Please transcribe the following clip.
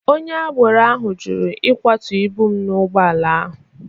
Onye agbaro ahụ jụrụ ịkwatụ ibụ m na ụgbọ ala.